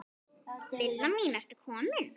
Lilla mín, ertu komin?